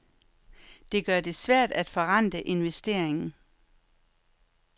Det gør det svært at forrente investeringen.